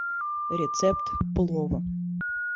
рецепт плова